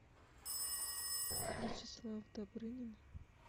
вячеслав добрынин